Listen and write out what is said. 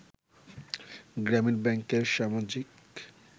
গ্রামীন ব্যাংকের সামাজিক